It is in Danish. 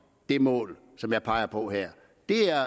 det mål som jeg peger på her